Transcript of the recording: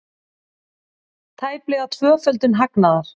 Tæplega tvöföldun hagnaðar